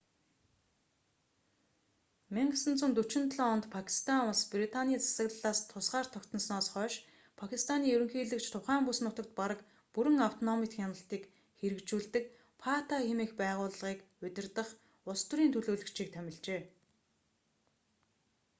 1947 онд пакистан улс британий засаглалаас тусгаар тогтносноос хойш пакистаны ерөнхийлөгч тухайн бүс нутагт бараг бүрэн автономит хяналтыг хэрэгжүүлдэг фата хэмээх байгууллагыг удирдах улс төрийн төлөөлөгч"-ийг томилжээ